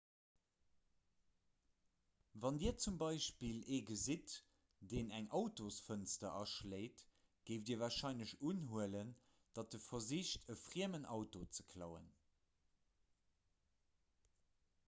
wann dir zum beispill ee gesitt deen eng autosfënster aschléit géift dir warscheinlech unhuelen datt e versicht e friemen auto ze klauen